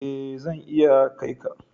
Ee zan iya kai ka.